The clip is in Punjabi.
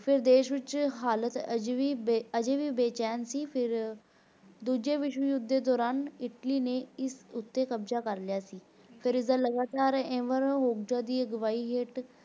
ਫਿਰ ਦੇਸ਼ ਵਿਚ ਹਾਲਤ ਹਜੇ ਵੀ ਹਜੇ ਵੀ ਬੇਚੈਨ ਸੀ ਫਿਰ ਦੂਜੇ ਵਿਸਧਵਯੁੱਧ ਦੌਰਾਨ Italy ਨੇ ਇਸ ਉੱਤੇ ਕਬਜਾ ਕਰ ਲਿਆ ਸੀ ਫੇਰ ਇਸ ਦਾ ਲਗਾਤਾਰ ਅਗਵਾਹੀ ਹੇਤ